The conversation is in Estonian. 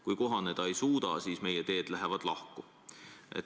Kui kohaneda ei suuda, siis meie teed lähevad lahku.